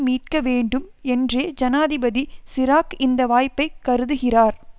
மீட்க வேண்டும் என்றே ஜனாதிபதி சிராக் இந்த வாய்ப்பை கருதுகிறார்